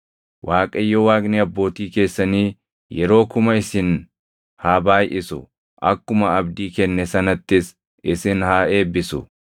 Waaqayyo Waaqni abbootii keessanii yeroo kuma isin haa baayʼisu; akkuma abdii kenne sanattis isin haa eebbisu!